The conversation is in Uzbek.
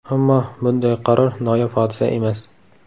Ammo bunday qaror noyob hodisa emas.